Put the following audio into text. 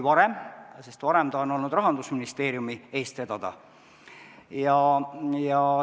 Varem oli ta Rahandusministeeriumi eest vedada.